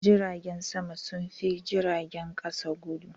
Jiragen sama sun fi jiragen kasa guɗu.